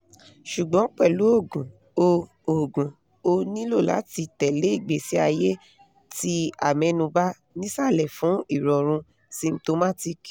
sugbon pelu oogun o oogun o nilo lati tele igbesi aye ti amenuba nisale fun irorun symtomatic